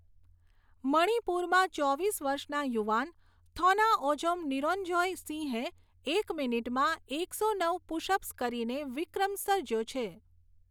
મણિપુરમાં ચોવીસ વર્ષના યુવાન થૌનાઓજમ નિંરજોય સિંહે એક મિનિટમાં એકસો નવ પુશ અપ્સ કરીને વિક્રમ સર્જયો છે.